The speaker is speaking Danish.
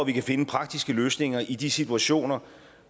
kan finde praktiske løsninger i de situationer